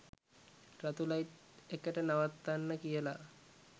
රතු ලයිට් එකට නවත්තන්න කියලා